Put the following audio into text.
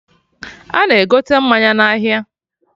Ana egote mmanya na ahịa